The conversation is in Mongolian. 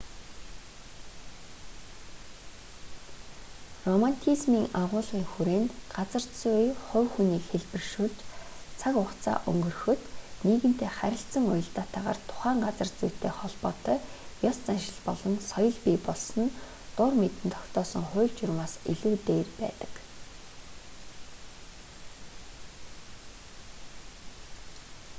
романтизмын агуулгын хүрээнд газар зүй хувь хүнийг хэлбэршүүлж цаг хугацаа өнгөрөхөд нийгэмтэй харилцан уялдаатайгаар тухайн газар зүйтэй холбоотой ёс заншил болон соёл бий болсон нь дур мэдэн тогтоосон хууль журмаас илүү дээр байсан